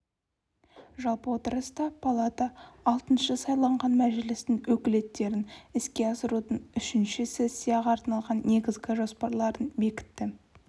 жалпы отырыста палата алтыншы сайланған мәжілістің өкілеттіктерін іске асырудың үшінші сессияға арналған негізгі жоспарларын бекітті